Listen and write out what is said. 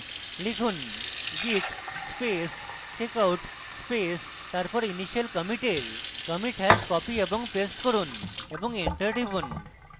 লিখুন: git space checkout space তারপর initial commit এর commit hash copy এবং paste করুন এবং enter টিপুন